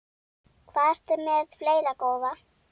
Hvað ertu með fleira, góða?